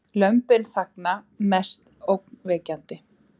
Lömbin þagna mest ógnvekjandi